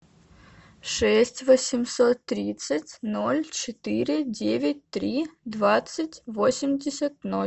шесть восемьсот тридцать ноль четыре девять три двадцать восемьдесят ноль